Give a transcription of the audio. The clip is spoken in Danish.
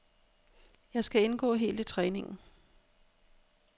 Jeg skal indgå helt i træningen.